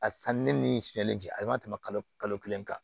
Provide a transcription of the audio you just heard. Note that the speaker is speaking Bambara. A sanni min siyɛnlen cɛ a ma tɛmɛ kalo kalo kelen kan